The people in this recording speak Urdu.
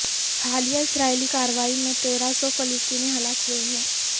حالیہ اسرائیلی کارروائی میں تیرہ سو فلسطینی ہلاک ہوئے ہیں